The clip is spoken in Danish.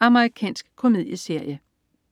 Amerikansk komedieserie